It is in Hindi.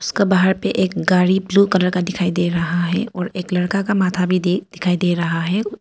उसका बाहर पे एक गाड़ी ब्लू कलर का दिखाई दे रहा है और एक लड़का का माथा भी दे दिखाई दे रहा है।